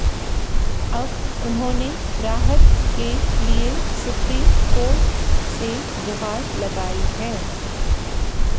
अब उन्होंने राहत के लिए सुप्रीम कोर्ट से गुहार लगाई है